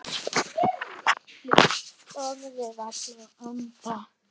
Þorði varla að anda.